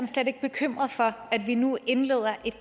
slet ikke bekymret for at vi nu indleder et